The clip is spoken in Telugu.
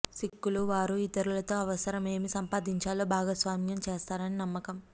సిక్కులు వారు ఇతరులతో అవసరం ఏమి సంపాదించాలో భాగస్వామ్యం చేస్తారని నమ్మకం